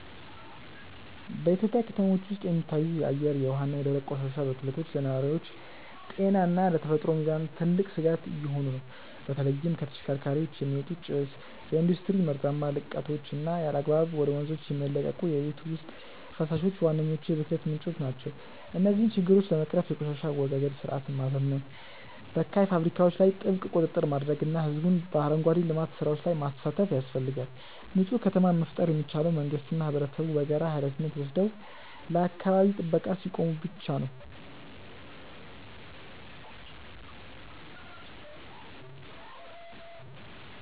በኢትዮጵያ ከተሞች ውስጥ የሚታዩት የአየር፣ የውሃ እና የደረቅ ቆሻሻ ብክለቶች ለነዋሪዎች ጤና እና ለተፈጥሮ ሚዛን ትልቅ ስጋት እየሆኑ ነው። በተለይም ከተሽከርካሪዎች የሚወጣ ጭስ፣ የኢንዱስትሪ መርዛማ ልቀቶች እና ያለአግባብ ወደ ወንዞች የሚለቀቁ የቤት ውስጥ ፈሳሾች ዋነኞቹ የብክለት ምንጮች ናቸው። እነዚህን ችግሮች ለመቅረፍ የቆሻሻ አወጋገድ ስርዓትን ማዘመን፣ በካይ ፋብሪካዎች ላይ ጥብቅ ቁጥጥር ማድረግ እና ህዝቡን በአረንጓዴ ልማት ስራዎች ላይ ማሳተፍ ያስፈልጋል። ንፁህ ከተማን መፍጠር የሚቻለው መንግስትና ህብረተሰቡ በጋራ ሃላፊነት ወስደው ለአካባቢ ጥበቃ ሲቆሙ ብቻ ነው።